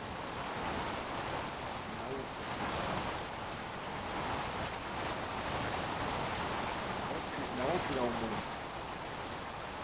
nawuphi na umntu